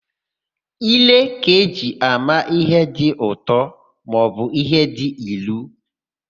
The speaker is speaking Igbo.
Ire ka-eji ama íhé dị ụtọ maọbụ íhé dị ilu.